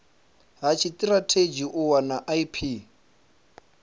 ha tshitirathedzhi u wana ip